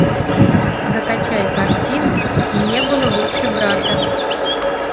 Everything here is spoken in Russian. закачай картину и не было лучше брата